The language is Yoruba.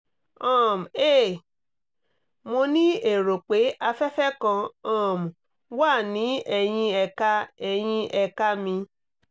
um hey mo ní èrò pé afẹ́fẹ́ kan um wà ní ẹ̀yìn ẹ̀ka ẹ̀yìn ẹ̀ka mi